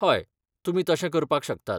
हय, तुमी तशें करपाक शकतात.